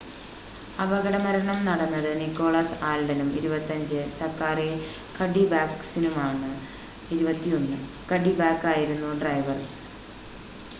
അപകടമരണം നടന്നത് നിക്കോളാസ് ആൽഡനും 25 സക്കാറി കഡ്ഡിബാക്ക്കിനുമാണ് 21 കഡ്ഡിബാക്കായിരുന്നു ഡ്രൈവർ